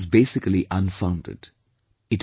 This notion is basically unfounded